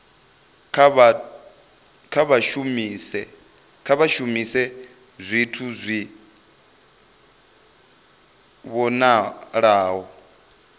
kha vha shumise zwithu zwi vhonalaho